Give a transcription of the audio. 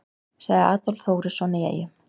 Sagði Adolf Þórisson í Eyjum.